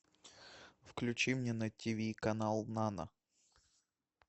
включи мне на тв канал нано